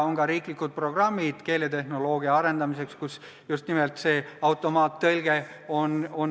On riiklikud programmid keeletehnoloogia arendamiseks, mille üks osa on seotud just nimelt automaattõlkega.